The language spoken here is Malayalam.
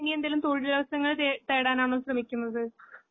ഇനിയെന്തെങ്കിലും തൊഴിലവസരങ്ങൾ തേ തേടാനാണോ ശ്രമിക്കുന്നത്?